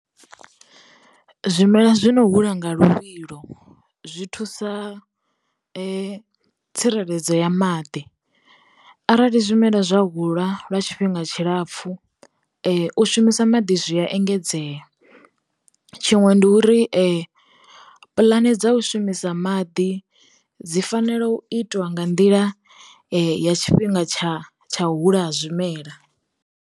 Zwimela zwi no hula nga luvhilo zwi thusa tsireledzo ya maḓi, arali zwimela zwa hula lwa tshifhinga tshilapfhu u shumisa sa maḓi zwi a engedzea. Tshiṅwe ndi uri puḽane dza u shumisa maḓi dzi fanela u itiwa nga nḓila ya tshifhinga tsha tsha u hula ha zwimela.